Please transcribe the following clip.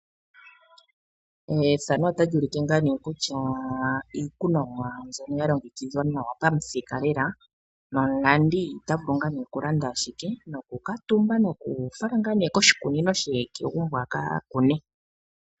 Iikunomwa mbyono ya longekidhwa nawa pamuthika lela nomulandi ota vulu okulanda noku ka tumba nokufala koshikunino she kegumbo a ka kune.